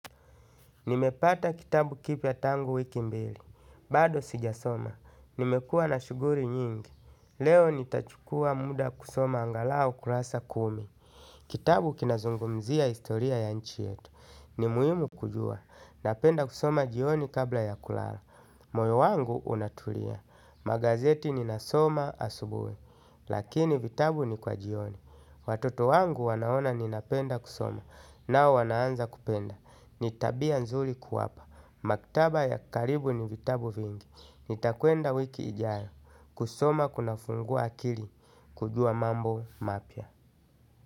Nimepata kitabu kipya tangu wiki mbili. Bado sijasoma. Nimekua na shuguri nyingi. Leo nitachukua muda kusoma angalau kurasa kumi. Kitabu kinazungumzia historia ya nchi yetu. Ni muhimu kujua. Napenda kusoma jioni kabla ya kulala. Moyo wangu unatulia. Magazeti ninasoma asubuhi. Lakini vitabu ni kwa jioni. Watoto wangu wanaona ninapenda kusoma. Nao wanaanza kupenda. Ni tabia nzuri kuwapa. Maktaba ya karibu ni vitabu vingi. Nitakwenda wiki ijayo. Kusoma kuna fungua akili. Kujua mambo mapya.